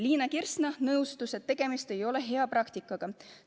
Liina Kersna nõustus, et tegemist ei ole hea praktikaga.